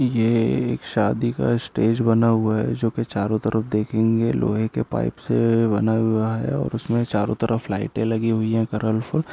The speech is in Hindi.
ये एक शादी का स्टेज बना हुआ है जो के चारों तरफ देखेंगे लोहे के पाइप से बना हुआ है और उसमें चारो तरफ लाइटें लगी हुई कलफुल ।